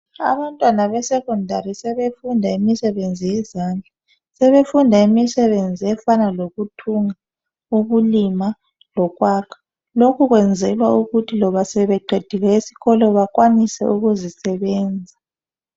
Abantwana be sekhondari sebefunda imisebenzi yezandla. Sebefunda imisebenzi efana lokuthunga, ukulima lokwakha. Lokhu kwenzelwa ukuthi loba sebeqedile esikolo bakwanise ukuzisebenza.